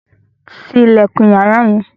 Tí ilẹkun yàrá yẹn!